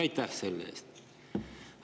Aitäh selle eest!